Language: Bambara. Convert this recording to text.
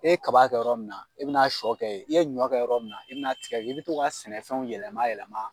E kaba kɛ yɔrɔ min na e bɛna sɔ kɛ ye, i ye ɲɔ kɛ yɔrɔ min na i bina tigɛ k i be to ka sɛnɛfɛnw yɛlɛma yɛlɛma